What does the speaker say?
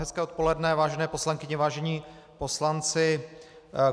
Hezké odpoledne, vážené poslankyně, vážení poslanci.